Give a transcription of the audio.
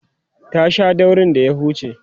ta Sha daurin da ya huce